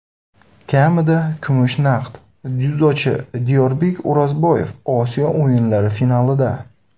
Kamida kumush naqd: dzyudochi Diyorbek O‘rozboyev Osiyo o‘yinlari finalida!.